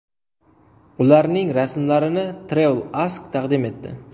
Ularning rasmlarini Travel Ask taqdim etdi.